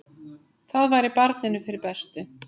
Það væri barninu fyrir bestu.